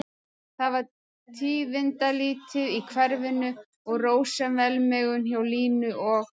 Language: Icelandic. Það var tíðindalítið í hverfinu og rósöm velmegun hjá Línu og